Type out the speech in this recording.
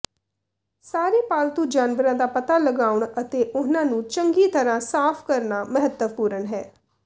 ਸਾਰੇ ਪਾਲਤੂ ਜਾਨਵਰਾਂ ਦਾ ਪਤਾ ਲਗਾਉਣਾ ਅਤੇ ਉਹਨਾਂ ਨੂੰ ਚੰਗੀ ਤਰ੍ਹਾਂ ਸਾਫ ਕਰਨਾ ਮਹੱਤਵਪੂਰਨ ਹੈ